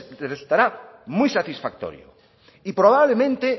les resultará muy satisfactorio y probablemente